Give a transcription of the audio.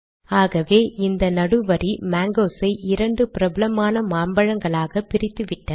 ஆகவே இந்த நடு வரி மேங்கோஸ் ஐ இரண்டு பிரபலமான மாம்பழங்களாக பிரித்துவிட்டது